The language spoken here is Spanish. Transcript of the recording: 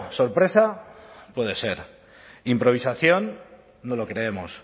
sorpresa puede ser improvisación no lo creemos